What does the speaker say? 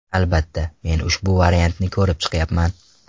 Albatta, men ushbu variantni ko‘rib chiqyapman.